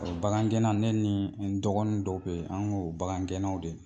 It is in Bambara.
Bagangɛnna ne nii n dɔgɔnin dɔw be ye an ŋ'o bagangɛnnaw de